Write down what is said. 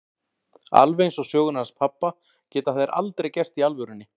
Alveg eins og sögurnar hans pabba geta þær aldrei gerst í alvörunni.